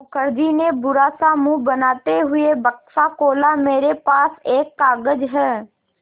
मुखर्जी ने बुरा सा मुँह बनाते हुए बक्सा खोला मेरे पास एक कागज़ है